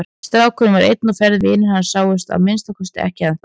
Strákurinn var einn á ferð, vinir hans sáust að minnsta kosti ekki ennþá.